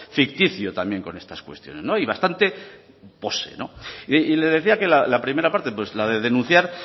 ficticio también con estas cuestiones y bastante pose le decía que la primera parte la de denunciar